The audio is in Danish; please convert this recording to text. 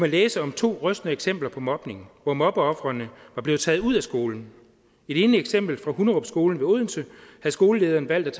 læse om to rystende eksempler på mobning hvor mobbeofrene var blevet taget ud af skolen i det ene eksempel fra hunderupskolen ved odense havde skolelederen valgt